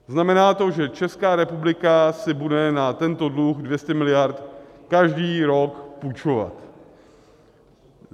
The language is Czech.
Znamená to, že Česká republika si bude na tento dluh 200 miliard každý rok půjčovat.